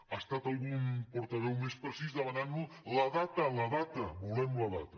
ha estat algun portaveu més precís demanant nos la data la data la data volem la data